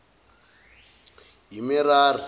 yamerari